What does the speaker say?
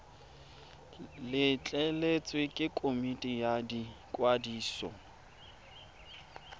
letleletswe ke komiti ya ikwadiso